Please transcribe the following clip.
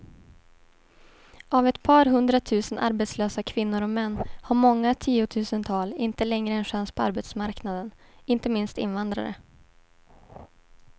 Av ett par hundratusen arbetslösa kvinnor och män har många tiotusental inte längre en chans på arbetsmarknaden, inte minst invandrare.